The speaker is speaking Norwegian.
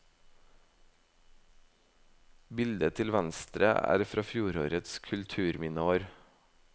Bildet til venstre er fra fjorårets kulturminneår.